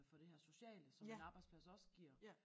Fra det her sociale som en arbejdsplads også giver